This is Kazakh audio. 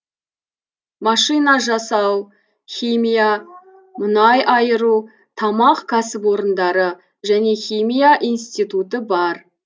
машина жасау химия мұнай айыру тамақ кәсіпорындары және химия институты бар